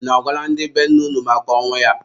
Unu agwala ndị be nne unu maka ọnwụ ya?